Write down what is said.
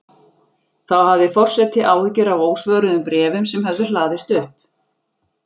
Þá hafði forseti áhyggjur af ósvöruðum bréfum sem höfðu hlaðist upp.